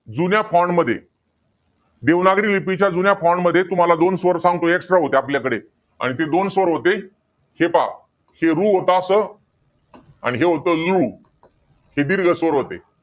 जुन्या मध्ये, देवनागरी लिपीच्या जुन्या मध्ये तुम्हाला दोन स्वर सांगतो extra होते आपल्याकडे. आणि ते दोन स्वर होते, हे पहा. हे रू होता असं. आणि हे होतं नृ. हे दीर्घ स्वर होते.